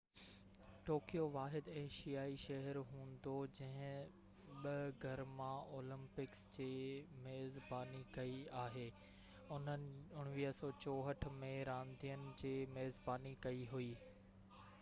Tokyo واحد ايشيائي شهر هوندو جنهن ٻہ گرما اولمپڪس جي ميزباني ڪئي آهي انهن 1964 ۾ راندين جي ميزباني ڪئي هئي